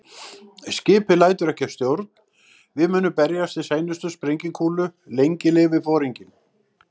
Skipið lætur ekki að stjórn, við munum berjast til seinustu sprengikúlu- lengi lifi Foringinn